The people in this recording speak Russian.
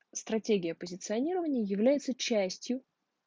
стратегия позиционирования является частью